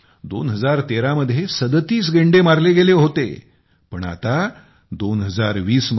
2013 मध्ये ३७ गेंडे मारले गेले होते २०१४ मध्ये ३२ गेंडे तस्करांनी मारून टाकले होते